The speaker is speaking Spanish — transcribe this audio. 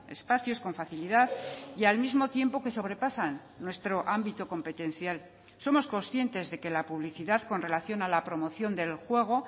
espacios con facilidad y al mismo tiempo que sobrepasan nuestro ámbito competencial somos conscientes de que la publicidad con relación a la promoción del juego